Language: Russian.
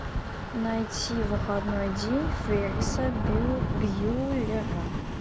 найти выходной день ферриса бьюллера